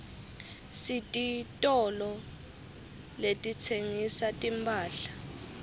sititolo letitsengisa timphahla